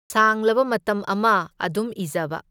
ꯁꯥꯡꯂꯕ ꯃꯇꯝ ꯑꯃ ꯑꯗꯨꯝ ꯢꯖꯕ꯫